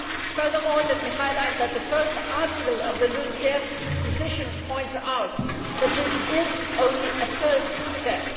Furthermore, let me highlight that the first article of the LULUCF decision points out that this is only a first step.